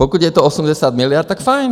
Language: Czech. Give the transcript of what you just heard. Pokud je to 80 miliard, tak fajn.